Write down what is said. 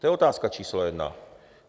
To je otázka číslo jedna.